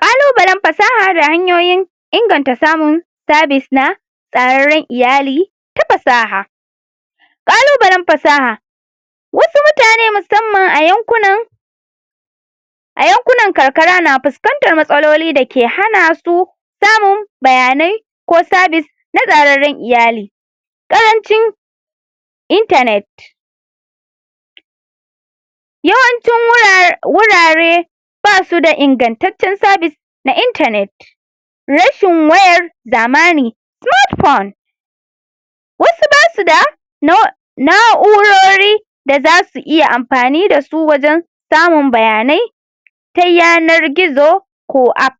kalubalen fasaha da hanyoyin inganta samun service na tsararran iyali ta fasaha kalubalen fasaha wasu mutane musamman a yankunan ayankunan karkara na fuskantan matsaloli dake hanasu samun bayanai ko service na tsararran iyali karancin internet yawancin wura wurare basuda ingantaccen service na internet rashin wayar zamani wasu basuda na 'urori dazasu iya amfanida su wajan samun bayanai ta yanargizo ko app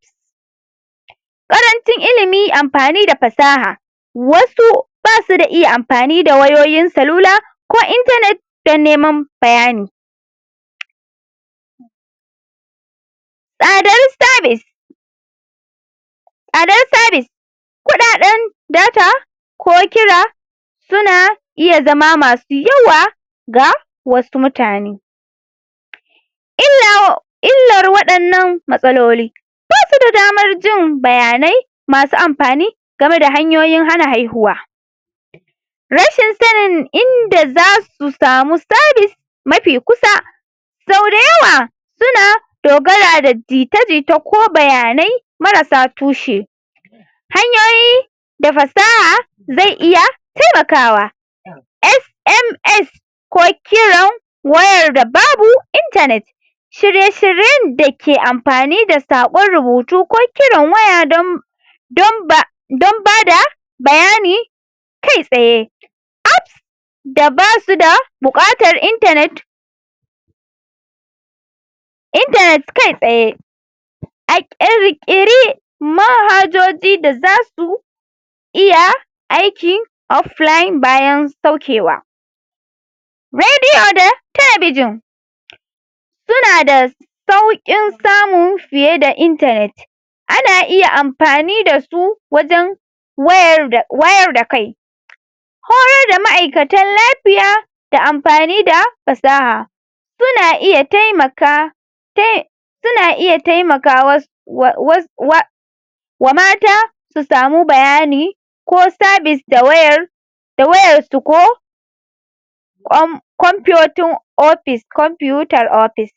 karantun ilimi amfani da fasaha wasu basu da iya amfani da wayoyin salula ko internet dan neman bayani tsadar service sadan service kudadan data ko kira suna iya zama masu yawa ga wasu mutane illau illar wadannan matsaloli basuda damar jin bayanai masu amfani gameda hanyoyin hana haihuwa rashin sanin inda zasu samu service mafi kusa sau dayawa suna dogara da jita jita ko bayanai marasa tushe hanyoyi da fasaha ze iya taimakawa SMS ko kiran wayarda babu internet shirye shiryen dake amfani da sakon rubutu ko kiran waya don don ba don bada bayani kai tsaye App da basuda bukatar internet internet kai tsaye (????????) akere kiri mahajoji da zasu iya aiki offline bayan saukewa radio da talbijin sunada saukin samu fiyeda internet ana iya amfani dasu wajan wayar wayar da kai horar da ma'aikatan lafiya da amfanida fasaha suna iya taimaka tai suna iya taimakawas wa was wa wa mata su samu bayani ko service da wayar da wayarsu ko kwan kwanpiototin office kwaputar office